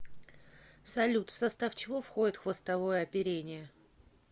салют в состав чего входит хвостовое оперение